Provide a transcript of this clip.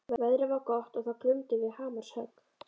Veðrið var gott og það glumdu við hamarshögg.